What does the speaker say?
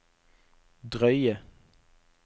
drøye